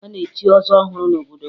A na-echi ọzọ ọhụrụ n'obodo m